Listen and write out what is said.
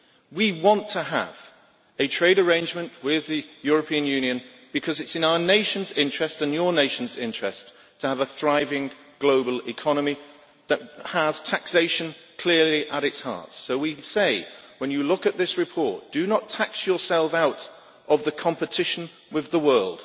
We want to have a trade arrangement with the European Union because it is in our nation's interest, and your nations' interest, to have a thriving global economy that has taxation clearly at its heart. So we say, when you look at this report, do not tax yourself out of competition with the world.